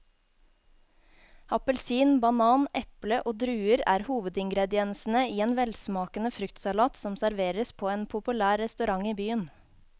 Appelsin, banan, eple og druer er hovedingredienser i en velsmakende fruktsalat som serveres på en populær restaurant i byen.